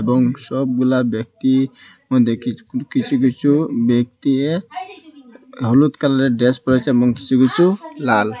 এবং সবগুলা ব্যক্তির মধ্যে কিছ-কিছু কিছু ব্যক্তি হলুদ কালারের ড্রেস পড়ে আছে এবং কিছু কিছু লাল।